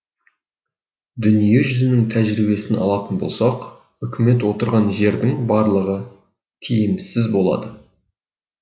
дүние жүзінің тәжірибесін алатын болсақ үкімет отырған жердің барлығы тиімсіз болады